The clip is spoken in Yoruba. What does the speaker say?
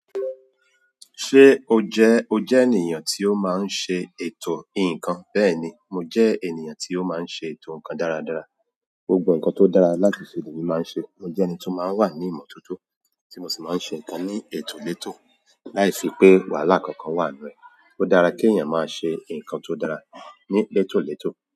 Ṣé o jẹ́, o jẹ́ ènìyàn tí ó máa ń ṣe ètò ǹkan? Bẹ́ẹ̀ni, mo jẹ́ ènìyàn tí ó máa ń ṣe ètò ǹkan dáradára. Gbogbo ǹkan tó dára láti ṣe ni emi máa ń ṣe. Mo jẹ́ ẹni tó máa ń wà ní ìmọ́tótó, tí mo sì máa ń ṣe ǹkan ní ètò létò. Láìsí pé wàhálà kankan wà n nú ẹ. Ó dára kí ènìyàn máa ṣe ǹkan tó dára ní étò létò.